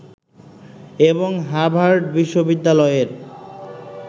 এবং হাভার্ড বিশ্ববিদ্যালয়ের